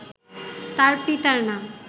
তার পিতার নাম